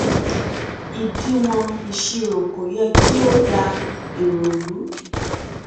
ìdíwọn ìṣirò kò yẹ kí ó dá èrò ru